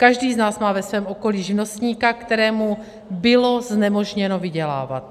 Každý z nás má ve svém okolí živnostníka, kterému bylo znemožněno vydělávat.